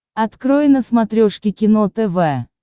открой на смотрешке кино тв